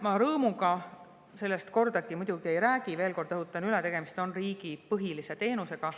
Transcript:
Ma rõõmuga sellest muidugi ei räägi, sest, veel kord rõhutan üle, tegemist on riigi põhilise teenusega.